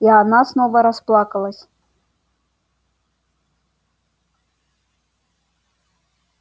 и она снова расплакалась